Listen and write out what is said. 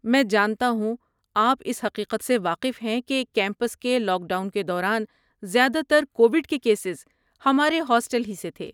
میں جانتا ہوں آپ اس حقیقت سے واقف ہیں کہ کیمپس کے لاک ڈاؤن کے دوران، زیادہ تر کوویڈ کے کیسز ہمارے ہاسٹل ہی سے تھے۔